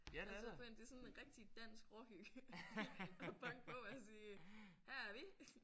Altså på en det er sådan rigtig dansk råhygge at banke på og sige her er vi